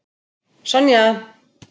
Sonja